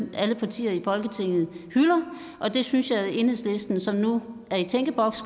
alle partier i folketinget hylder og det synes jeg at enhedslisten som nu er i tænkeboks